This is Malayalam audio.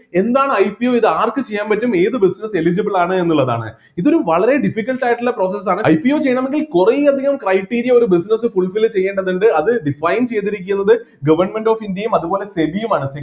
എന്താണ് IPO ഇതാർക്ക് ചെയ്യാൻ പറ്റും ഏത് business eligible ആണ് എന്നുള്ളതാണ് ഇതൊരു വളരെ difficult ആയിട്ടുള്ള process ആണ് IPO ചെയ്യണമെങ്കിൽ കുറെ അധികം criteria ഒരു business fulfill ചെയ്യേണ്ടതുണ്ട് അത് define ചെയ്‌തിരിക്കുന്നത്‌ government of india യും അതുപോലെ SEBI യുമാണ്